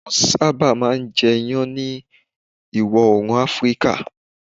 Wọ́n sábà máa ń jẹ iyan ní Ìwọ̀ Oòrùn Áfíríkà